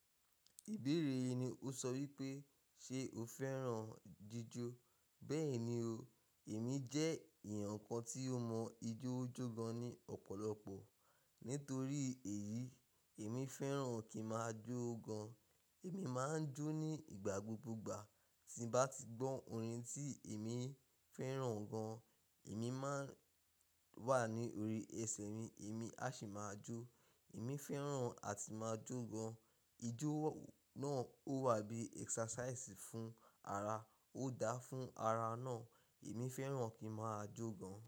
Ìbéèrè yìí ni ó sọ wípé, ṣe o fẹ́ràn jíjó? Bẹ́ẹ̀ni o, èmi jẹ́ èèyàn kan tí ó mọ ijó jó gan ní ọ̀pọ̀lọpọ̀. Nítorí èyí, èmi fẹ́ràn kí n máa jó gan. Èmi máa ń jó ní ìgbà gbogbo ìgbà. Tí n bá ti gbọ́ orin tí èmi fẹ́ràn gan, èmi máa ń wà ní orí ẹsẹ̀ mi, èmi á sì máa jó. Èmi fẹ́ràn àti máa jó gan. Ijó náà ó wà bí ẹksasaìsì fún ara, ó dáa fún ara náà. Èmi fẹ́ràn kí n máa jó gan.